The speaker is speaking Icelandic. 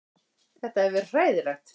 Þetta hefur verið hræðilegt